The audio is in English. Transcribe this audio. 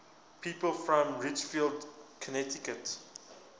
people from ridgefield connecticut